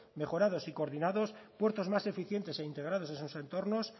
mejorados y coordinados puertos más eficientes e integrados en sus entornos